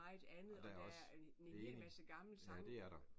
Og der er også. Enig. Ja det er der